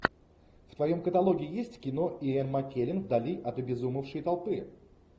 в твоем каталоге есть кино иэн маккеллен вдали от обезумевшей толпы